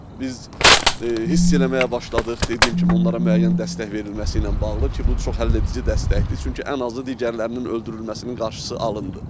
biz hiss eləməyə başladıq, dediyim kimi onlara müəyyən dəstək verilməsi ilə bağlı ki, bu çox həlledici dəstəkdir, çünki ən azı digərlərinin öldürülməsinin qarşısı alındı.